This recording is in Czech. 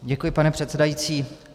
Děkuji, pane předsedající.